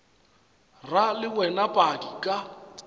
ra le wena padi ka